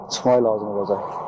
Çıxmaq lazım olacaq.